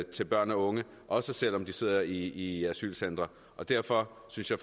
til børn og unge også selv om de sidder i asylcentre og derfor synes jeg